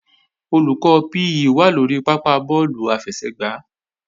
Olùkọ́ PE wà lórí pápá bọ́ọ̀lù àfẹsẹ̀gbá